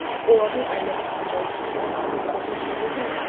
олардың айлығы қандай саған кәдімгі документтер берді ме